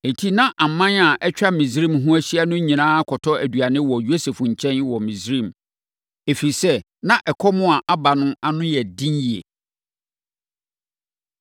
Enti, na aman a atwa Misraim ho ahyia no nyinaa kɔtɔ aduane wɔ Yosef nkyɛn wɔ Misraim, ɛfiri sɛ, na ɛkɔm a aba no ano yɛ den yie.